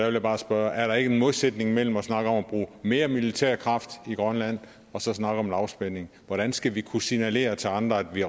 jeg bare spørge er der ikke en modsætning mellem at snakke om at bruge mere militær kraft i grønland og så snakke om lavspænding hvordan skal vi kunne signalere til andre at vi